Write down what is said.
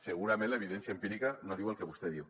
segurament l’evidència empírica no diu el que vostè diu